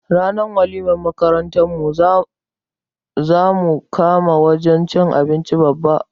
Ranar walimar makarantar mu zamu kama wajan cin abinci Babba